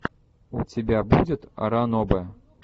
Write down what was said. у тебя будет ранобэ